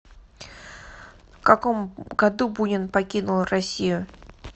в каком году бунин покинул россию